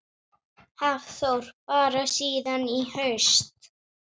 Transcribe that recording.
Hafþór: Bara síðan í haust?